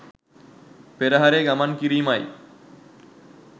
පෙරහරේ ගමන් කිරීමයි.